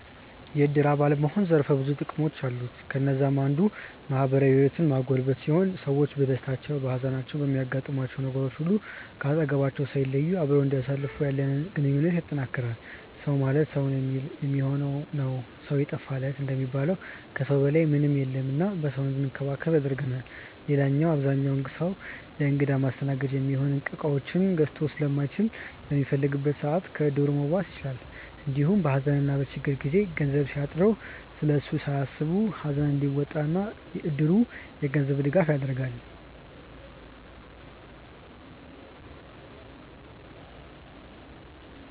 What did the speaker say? የዕድር አባል መሆን ዘርፈ ብዙ ጥቅሞች አሉት። ከነዛም አንዱ ማህበራዊ ህይወትን ማጎልበት ሲሆን ሰዎች በደስታችን፣ በሃዘናችን፣ በሚያጋጥሙን ነገሮች ሁሉ ከአጠገባችን ሳይለዩ አብረውን እንዲያሳልፉ ያለንን ግንኙነት ያጠነክራል። “ሰው ማለት ሰው የሚሆን ነው ሰው የጠፋ ለት” እንደሚባለው ከሰው በላይ ምንም የለም እና በሰው እንድንከበብ ያደርገናል። ሌላው አብዛኛው ሰው ለእንግዳ ማስተናገጃ የሚሆኑ እቃዎችን ገዝቶ ስለማይችል በሚፈልግበት ሰዓት ከዕድሩ መዋስ ይችላል። እንዲሁም በሃዘንና በችግሩ ጊዜ ገንዘብ ቢያጥረው ስለሱ ሳያስብ ሃዘኑን እንዲወጣ እድሩ የገንዘብ ድጋፍ ያደርጋል።